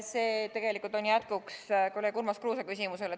See on tegelikult jätkuks kolleeg Urmas Kruuse küsimusele.